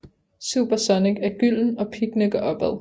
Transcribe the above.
Super Sonic er gylden og Piggene går opad